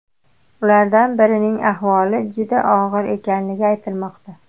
Ulardan birining ahvoli juda og‘ir ekanligi aytilmoqda.